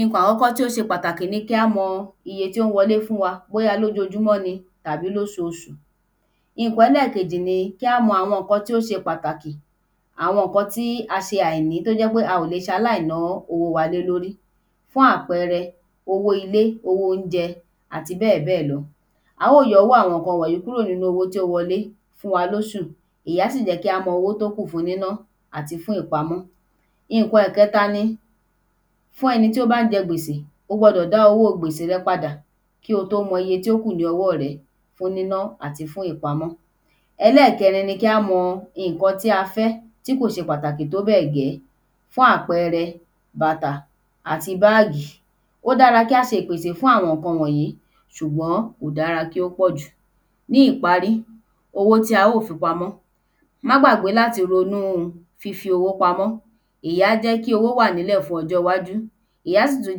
ìnkan àkọ́kọ́ tó ṣe pàtàkì ni kí á mọ iyẹ tí ó ń wọlé fún wa bóyá lójojúmọ́ ni àbí lósoosù ìnkan ẹlẹ́kejì ní kí á mọ àwọn ǹkan tó ṣe pàtàkì àwọn ǹkan tí a ṣe àìní tó jẹ́ pé a ò lẹ̀ ṣaláì na owó wa lé lórí fún àpẹẹrẹ owó ilé owó óunjẹ àti bẹ́ẹ̀ bẹ́ẹ̀ lọ á ó yọ owó àwọn ǹkan wọ̀n yí kúrò nínú owó tó wọlé fún wa lósù ìyẹn á sì jẹ́ kí á mọ owó tó kù fún níná àti fún ìpamọ́ ìnkan ẹ̀kẹta ni fún ẹni tó bá jẹ gbèsè o gbọdọ̀ dá owó gbèsè rẹ padà kí o tó mọ iye tó kù ní ọwọ́ rẹ fún níná àti fún ìpamọ́ ẹlẹ́ẹ̀kẹrin ni kí á mọ ìnkan tí a fẹ́ tí kò ṣe pàtàkì tó bẹ́ẹ̀ gẹ́ fún àpẹẹrẹ bàtà àti báàgì ó dára kí á se ìpèsè fún àwon ǹkan wọ̀nyí ṣùgbọ́n kò dára kí ó pọ̀ jù ní ìparí owó tí a ó fi pamọ́ má gbàgbẹ́ láti ronú fífi owó pamọ́ ìyí á jẹ́ kí owó wà fún ojó iwájú ìyẹn á sì tú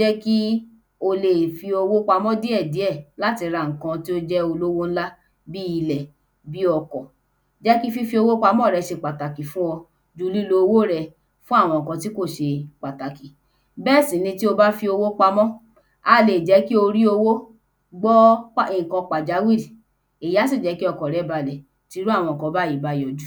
jẹ́ kí o le è fi owo pamọ́ díẹ̀ díẹ̀ láti ra ǹkan tó jẹ́ olówo ńlá bí ilẹ̀ bí ọkọ̀ jẹ́ kí fífí owó pamọ́ rẹ se pàtàkì fún ẹ lo lílo owó rẹ fún àwọn ǹkan tí kò se patàkì bẹ́ẹ̀ sì ni tí o bá fi owó pamọ́ á le è jẹ́ kí o rí owó gbọ́ ìnkan pàjáwírí ìyẹn á sì jẹ́ kí ọkàn rẹ balẹ̀ tí irú àwọn ǹkan báyí bá yọjú